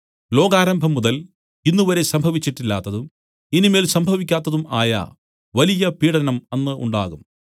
ലോകാരംഭം മുതൽ ഇന്നുവരെയും സംഭവിച്ചിട്ടില്ലാത്തതും ഇനി മേൽ സംഭവിക്കാത്തതും ആയ വലിയ പീഢനം അന്ന് ഉണ്ടാകും